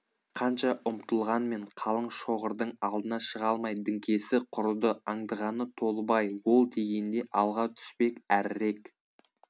қанша ұмтылғанмен қалың шоғырдың алдына шыға алмай діңкесі құрыды аңдығаны толыбай ол дегенде алға түспек әрірек